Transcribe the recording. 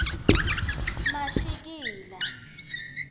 mashikila